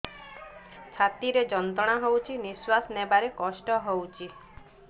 ଛାତି ରେ ଯନ୍ତ୍ରଣା ହଉଛି ନିଶ୍ୱାସ ନେବାରେ କଷ୍ଟ ହଉଛି